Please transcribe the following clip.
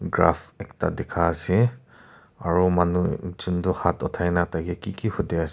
graph ekta dikha ase aro manu ekjun toh haat uthai na tai ke ki ki hudi ase.